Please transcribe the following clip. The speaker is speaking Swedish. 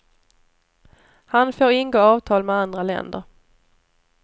Han får ingå avtal med andra länder.